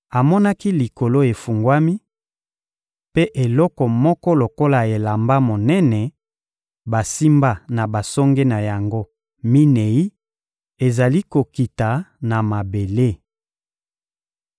Amonaki Likolo efungwami, mpe eloko moko lokola elamba monene basimba na basonge na yango minei ezali kokita na mabele.